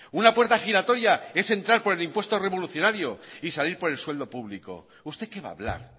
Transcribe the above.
una puerta giratoria es entrar por el impuesto revolucionario y salir por el sueldo público usted que va a hablar